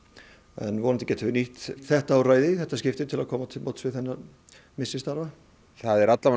en vonandi getum við nýtt þetta úrræði í þetta skipti til að koma til móts við missi starfa það er